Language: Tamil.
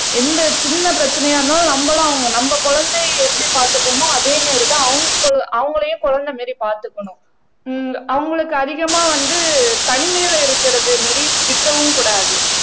எந்த சின்ன பிரச்சனையா இருந்தாலும் நம்மளும் அவங்க நம்ம குழந்தையை எப்படி பார்த்துக்குவோமோ அதே மாதிரிதான் அவங்க கு அவங்களையும் குழந்தை மாதிரி பார்த்துக்கணும் உம் அவங்களுக்கு அதிகமா வந்து தனிமையிலே இருக்கிறது மாரி விட்டுரவும் கூடாது